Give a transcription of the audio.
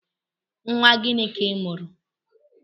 Nwa gịnị ka i mụrụ?